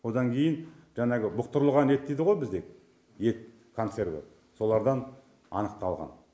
одан кейін жаңағы бұқтырылған ет дейді ғо бізде ет консерві солардан анықталған